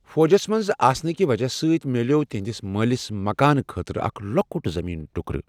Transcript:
فوجس منٛز آسنٕکہ وجہہ سۭتۍ میلیٛوو تہنٛدِس مٲلِس مکان خٲطرٕ اکھ لۄکُٹ زمیٖن ٹکرٕ۔